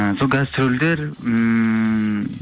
ы сол гастрольдер ммм